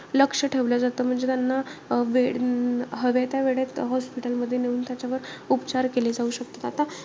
लक्ष ठेवलं जात. म्हणजे त्यांना अं वेळ हवे त्या वेळेत hospital मध्ये नेऊन त्याच्यावर उपचार केले जाऊ शकतात. आता,